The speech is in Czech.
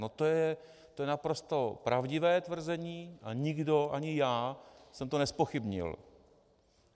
No to je naprosto pravdivé tvrzení a nikdo, ani já jsem to nezpochybnil.